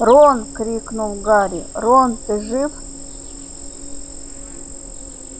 рон крикнул гарри рон ты жив